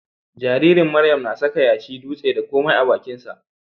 Jaririn Miriam na saka yashi, dutse, da komai a bakinsa.